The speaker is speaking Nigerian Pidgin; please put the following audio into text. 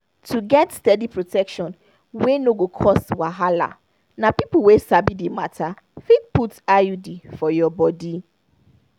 to get steady protection wey no go cause wahala na people wey sabi the matter fit put iud for your body.